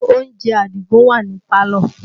Oúnjẹ Àdìgún wà ní pálọ̀